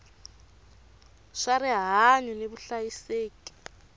swa rihanyu ni vuhlayiseki va